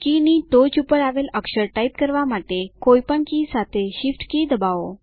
કીની ટોચ પર આવેલ અક્ષર ટાઇપ કરવા માટે કોઈપણ કી સાથે Shift કી દબાવો